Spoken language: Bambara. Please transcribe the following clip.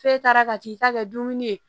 F'e taara ka t'i ta kɛ dumuni ye